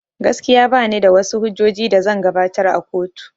Gaskiya banida wash hujjojin da zan gabatar a kotu